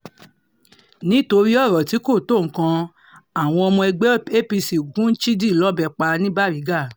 nítorí ọ̀rọ̀ tí kò tó nǹkan àwọn ọmọ ẹgbẹ́ apc gun chidi lọ́bẹ̀ pa ní bàrigà